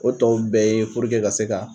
O tɔw bɛɛ ye ka se ka.